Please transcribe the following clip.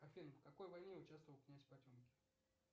афина в какой войне участвовал князь потемкин